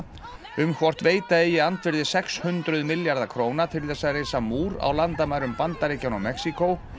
um hvort veita eigi andvirði sex hundruð milljarða króna til þess að reisa múr á landamærum Bandaríkjanna og Mexíkó